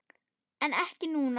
En ekki núna?